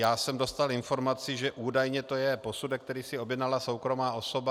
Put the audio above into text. Já jsem dostal informaci, že údajně to je posudek, který si objednala soukromá osoba.